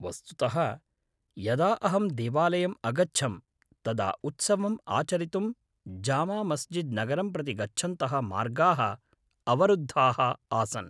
वस्तुतः, यदा अहं देवालयम् अगच्छं तदा उत्सवम् आचरितुं जामामस्जिद् नगरं प्रति गच्छन्तः मार्गाः अवरुद्धाः आसन्।